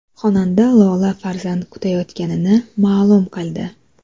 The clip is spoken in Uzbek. Xonanda Lola farzand kutayotganini ma’lum qildi.